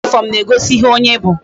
Uwe uniform na ego ihe onye bu